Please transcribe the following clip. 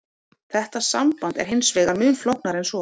Þetta samband er hins vegar mun flóknara en svo.